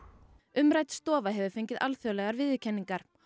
umrædd stofa hefur fengið alþjóðlegar viðurkenningar